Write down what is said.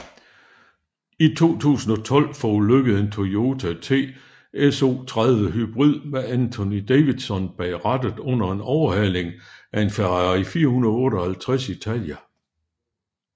I 2012 forulykkede en Toyota TS030 Hybrid med Anthony Davidson bag rattet under en overhaling af en Ferrari 458 Italia